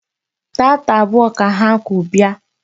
Taata abụọ ka ha ku bịa.